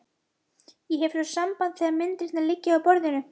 Ég hef svo samband þegar myndirnar liggja á borðinu.